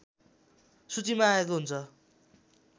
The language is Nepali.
सूचीमा आएको हुन्छ